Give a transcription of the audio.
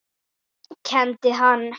Kenndi hann